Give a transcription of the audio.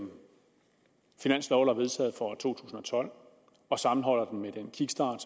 finanslov der blev vedtaget for to tusind og tolv og sammenholder den med den kickstart